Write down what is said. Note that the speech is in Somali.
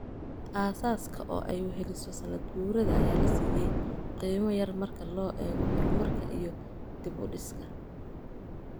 Aasaaska, oo ay weheliso sannad-guurada, ayaa la siiyay qiimo yar marka loo eego horumarka iyo dib-u-dhiska.